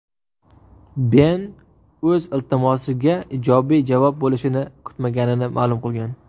Ben o‘z iltimosiga ijobiy javob bo‘lishini kutmaganini ma’lum qilgan.